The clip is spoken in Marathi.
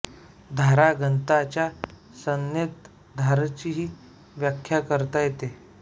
धारा घनता च्या संज्ञेत धाराचीही व्याख्या करता येते